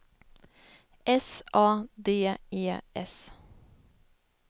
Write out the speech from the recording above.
S A D E S